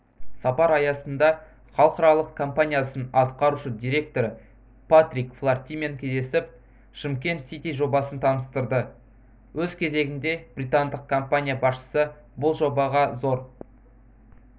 сапар аясында іалықаралық компаниясының атқарушы директоры патрик флаертимен кездесіп шымкент сити жобасын таныстырды өз кезегінде британдық компания басшысы бұл жобаға зор